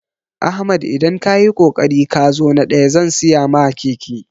Ahmad idan kayi kokari kazo na ɗaya zan siya ma keke